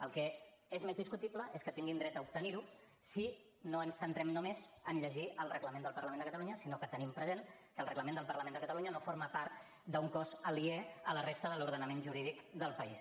el que és més discutible és que tinguin dret a obtenir ho si no ens centrem només a llegir el reglament del parlament de catalunya sinó que tenim present que el reglament del parlament de catalunya no forma part d’un cos aliè a la resta de l’ordenament jurídic del país